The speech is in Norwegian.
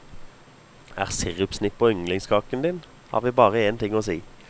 Er sirupsnipper yndlingskaken din, har vi bare en ting å si.